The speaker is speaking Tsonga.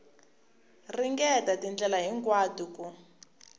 ringeta hi tindlela hinkwato ku